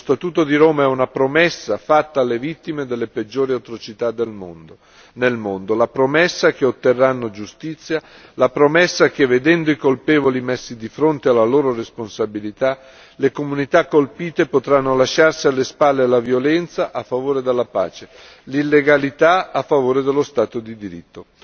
Lo Statuto di Roma è una promessa fatta alle vittime delle peggiori atrocità nel mondo, la promessa che otterranno giustizia, la promessa che, vedendo i colpevoli messi di fronte alle loro responsabilità, le comunità colpite potranno lasciarsi alle spalle la violenza a favore della pace, l'illegalità a favore dello Stato di diritto.